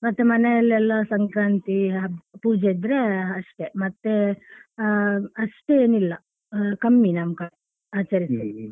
ಮತ್ತೆ ಮನೆಯಲ್ಲೆಲ್ಲ ಸಂಕ್ರಾಂತಿ ಪೂಜೆ ಇದ್ರೆ ಅಷ್ಟೇ ಮತ್ತೆ ಅಹ್ ಅಷ್ಟೇನಿಲ್ಲ ಕಮ್ಮಿ ನಮ್ಕಡೆ ಆಚರಿಸುದು ,